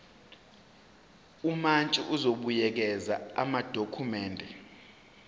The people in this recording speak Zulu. umantshi uzobuyekeza amadokhumende